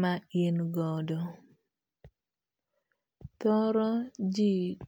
ma ingodo. Thoro ji.